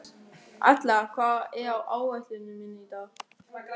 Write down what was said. Atla, hvað er á áætluninni minni í dag?